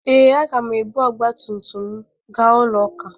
Ee, agam ebu ọgba tum tum m gaa ụlọ ụka